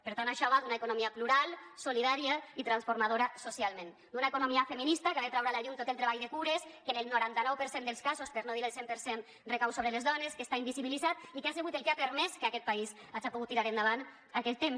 per tant això va d’una economia plural solidària i transformadora socialment d’una economia feminista que ha de treure a la llum tot el treball de cures que en el noranta nou per cent dels casos per no dir el cent per cent recau sobre les dones que està invisibilitzat i que ha sigut el que ha permès que aquest país haja pogut tirar endavant aquest temps